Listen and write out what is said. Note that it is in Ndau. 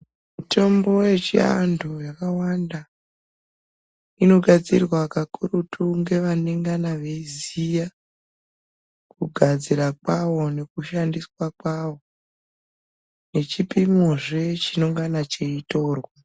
Mitombo yechivanthu yakawanda inogadzirwa kakurutu nhevanengana veiziya kugadzirwa kwawo nekushandiswa kwawo nechipimozve chinengana cheitorwa.